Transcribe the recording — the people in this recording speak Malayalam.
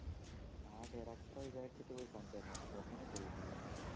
ആ director എ ﻿ വിചാരിച്ചിട്ടു പോയി കണ്ടേ നോക്കുമ്പോ ഒന്നിനും കൊള്ളുന്നില്ല പടം